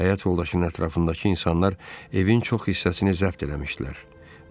Həyat yoldaşının ətrafındakı insanlar evin çox hissəsini zəbt eləmişdilər.